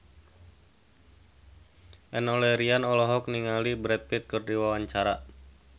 Enno Lerian olohok ningali Brad Pitt keur diwawancara